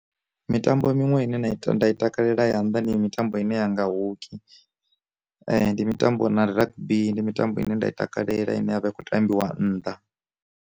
Mitambo minwe ine nda i nda i takalela ya nda ndi mitambo ine yanga hoki, ndi mitambo na rugby ndi mitambo ine nda i takalela ine yavha i kho tambiwa nnḓa.